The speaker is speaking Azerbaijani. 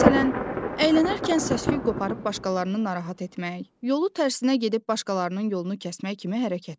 Məsələn, əylənərkən səs-küy qoparıb başqalarını narahat etmək, yolu tərsinə gedib başqalarının yolunu kəsmək kimi hərəkətlər.